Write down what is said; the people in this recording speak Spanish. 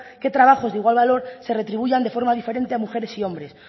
que trabajos de igual valor se retribuyan de forma diferente a mujeres y hombre